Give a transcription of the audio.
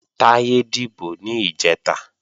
Táyé dìbò ní ìjẹta